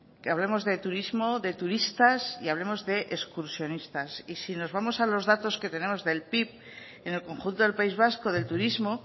que hablemos de turismo de turistas y hablemos de excursionistas y si nos vamos a los datos que tenemos del pib en el conjunto del país vasco del turismo